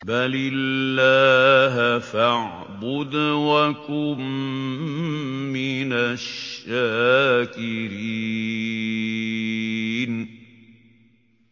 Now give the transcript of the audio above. بَلِ اللَّهَ فَاعْبُدْ وَكُن مِّنَ الشَّاكِرِينَ